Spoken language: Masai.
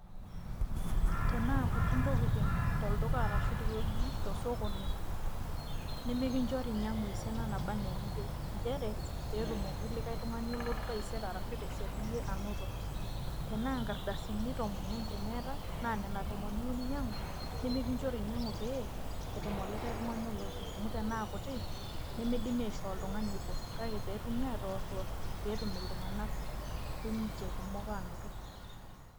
Tanaa kuti ntokiting tolduka arashu tewueji tosokoni, nimikinchori inyang'u esiana naba enaa eniyieu. Njere, petumoki likae tung'ani taisere arashu tesiadi yie anoto. Tenaa nkardasini tomon enkurma eetae, na nena tomon iyieu ninyang'u, nimikinchori inyang'u pee, etum olikae tung'ani olotu. Amu tenaa kuti, nimidimi aishoo oltung'ani obo. Kake petumi atorwor, petum iltung'anak sininche kumok anoto.